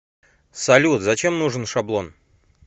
салют зачем нужен шаблон